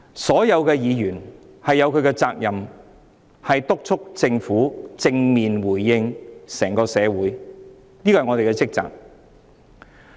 所有議員均有責任督促政府正面回應整個社會的訴求，這是我們的職責。